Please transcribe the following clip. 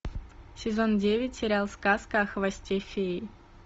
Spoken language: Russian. сезон девять сериал сказка о хвосте феи